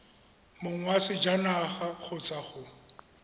mong wa sejanaga kgotsa go